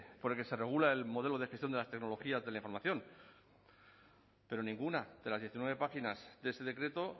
por el que se regula el modelo de gestión de las tecnologías de la información pero ninguna de las diecinueve páginas de ese decreto